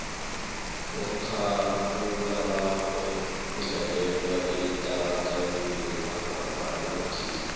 umakhakhulararhwe udlalelwa etatawini langekhethu